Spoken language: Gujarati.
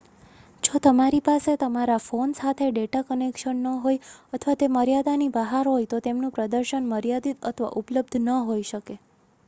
જો તમારી પાસે તમારા ફોન સાથે ડેટા કનેક્શન ન હોય અથવા તે મર્યાદાની બહાર હોય તો તેમનું પ્રદર્શન મર્યાદિત અથવા ઉપલબ્ધ ન હોઈ શકે